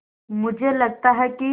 मुझे लगता है कि